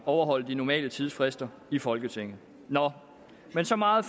overholde de normale tidsfrister i folketinget men så meget